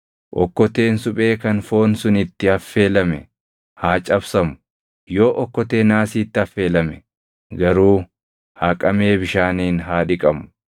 Okkoteen suphee kan foon sun itti affeelame haa cabsamu; yoo okkotee naasiitti affeelame garuu haqamee bishaaniin haa dhiqamu.